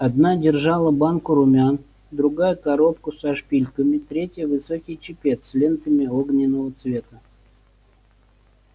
одна держала банку румян другая коробку со шпильками третья высокий чепец с лентами огненного цвета